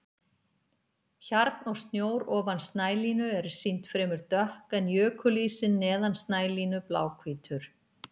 Hjarn og snjór ofan snælínu eru sýnd fremur dökk en jökulísinn neðan snælínu bláhvítur.